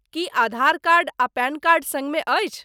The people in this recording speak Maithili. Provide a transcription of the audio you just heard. की आधार कार्ड आ पैन कार्ड सङ्गमे अछि?